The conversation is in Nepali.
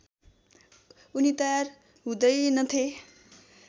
उनी तयार हुँदैनथे